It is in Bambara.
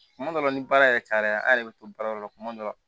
Kuma dɔ la ni baara yɛrɛ cayara an yɛrɛ bɛ to baara dɔ la kuma dɔ la